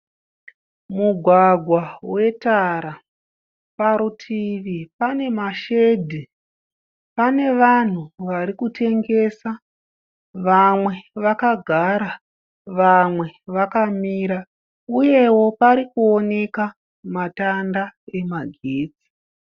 Mugwagwa wetara. Parutivi pane mashedhi. Pane vanhu vari kutengesa. Vamwe vakagara vamwe vakamira uyewo parikuoneka matanda emagetsi.